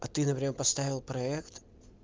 а ты например поставил проэкт